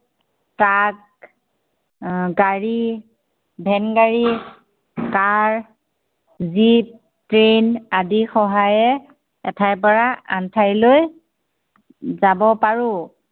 Truck গাড়ী van গাড়ী, car jeep, train আদিৰ সহায়ে এঠাইৰ পৰা আন ঠাইলৈ যাব পাৰো।